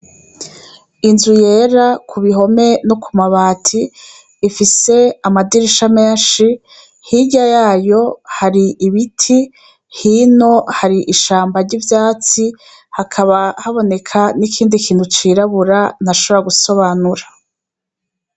Inzu yera k'ubihome no ku mabati, ifise amadirisha menshi, hirya yayo hari ibiti, hino hari ishamba ry'ivyatsi, hakaba haboneka n'ikindi kintu c'irabura ntashobora gusobanura.